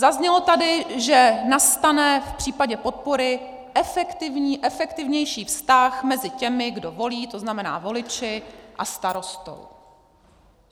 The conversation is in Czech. Zaznělo tady, že nastane v případě podpory efektivnější vztah mezi těmi, kdo volí, to znamená voliči, a starostou.